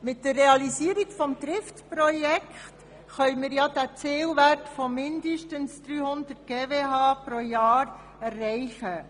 Mit der Realisierung des Trift-Projekts können wir einen Zielwert von mindestens 300 GWh pro Jahr erreichen.